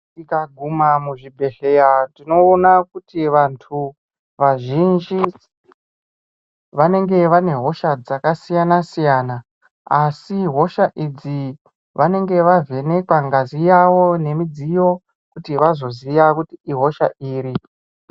Tikaguma muzvibhedhlera tinoona kuti vantu vazhinji vanenge vane hosha dzakasiyana siyana asi hosha idzi vanenge vavhenekwa ngazi yavo nemudziyo kuti vazoziya kuti ihosha iri.